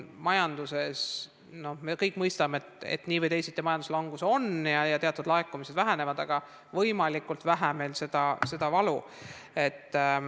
Me kõik mõistame, et nii või teisiti majanduslangus on ja teatud laekumised vähenevad, aga loodame, et meil oleks võimalikult vähe valu.